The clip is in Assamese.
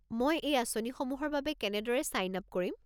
মই এই আঁচনিসমূহৰ বাবে কেনেদৰে ছাইন আপ কৰিম?